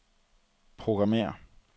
programmér